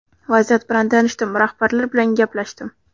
Vaziyat bilan tanishdim, rahbarlar bilan gaplashdim.